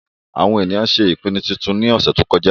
àwọn ènìyàn ṣé ìpinnu titun ní ọ̀sẹ̀ tó kọjá